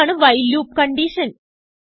അതാണ് while loop condition